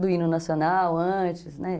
do hino nacional antes, né?